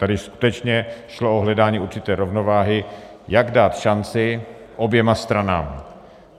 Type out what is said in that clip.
Tady skutečně šlo o hledání určité rovnováhy, jak dát šanci oběma stranám.